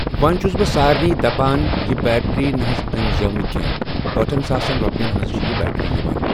وۄنۍ چھُس بہٕ سارنے دپان یہِ بیٹری نہ حظ أنۍ زیٚو کینٛہہ ٲٹھن ساسن رۄپٮ۪ن حظ چھِ یہِ بیٹری یِوان۔